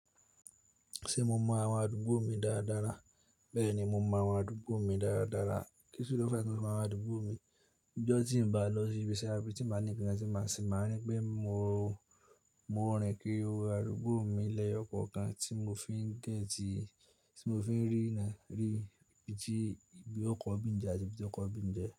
Ṣé mo mọ àwọn àdúgbò mi dára dára? Bẹ́ẹ̀ni, mo mọ àwọn àdúgbò mi dára dára. Kí ṣi ló fẹ́ fí mo àwọn àdúgbò mi? Ọjọ́ tí n bá lọ sí ibiṣẹ́ àbí tí máa ní ìpinnu tí máa ṣe, màá rí pé mo, mo rin kíri àdúgbò mi lẹ́yọ̀ kọ̀ọ̀kan tí mo fi ń gét, tí mo fi ń rí, rí bí óokọ́ ibí n. Jẹ́ àti bí óokọ́ ọ ibi n jẹ́